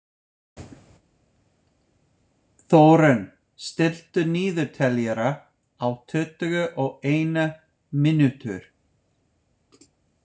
Þórunn, stilltu niðurteljara á tuttugu og eina mínútur.